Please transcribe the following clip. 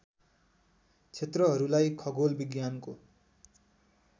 क्षेत्रहरूलाई खगोल विज्ञानको